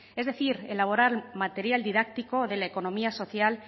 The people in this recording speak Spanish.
es decir elaborar material didáctico de la economía social